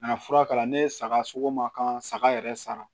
Kana fura k'a la ne ye saga sogo ma kan saga yɛrɛ sara